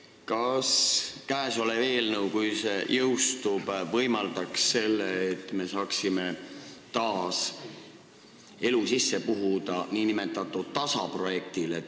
Kas käesolev eelnõu, kui see jõustuks, võimaldaks seda, et me saaksime nn DASA-projektile taas elu sisse puhuda?